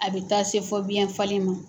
A bɛ taa se fɔ biyɛn falen ma.